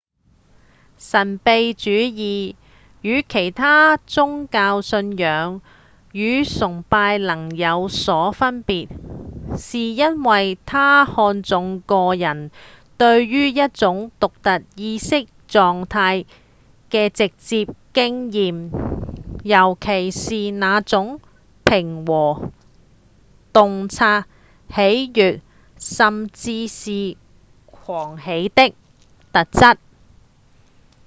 神祕主義與其它宗教信仰與崇拜能有所分別是因為它看重個人對於一種獨特意識狀態的直接經驗尤其是那種平和、洞察、喜悅、甚至是狂喜的特質